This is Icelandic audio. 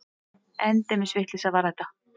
Endemis vitleysa var þetta!